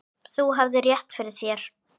Þú hafðir rétt fyrir þér.